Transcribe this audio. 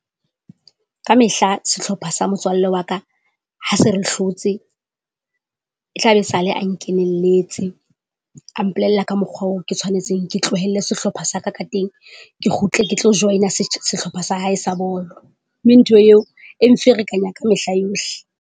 Ka mehla sehlopha sa motswalle wa ka ha se re hlotse, e tla be e sale a nkenelletse. A mpolella ka mokgwa oo ke tshwanetseng ke tlohelle sehlopha sa ka ka teng, ke kgutle ke tlo join-a sehlopha sa hae sa bolo, mme ntho eo e mferekanya ka mehla yohle.